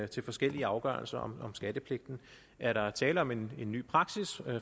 til forskellige afgørelser om skattepligten er der tale om en ny praksis